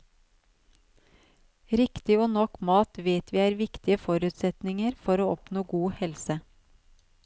Riktig og nok mat vet vi er viktige forutsetninger for å oppnå god helse.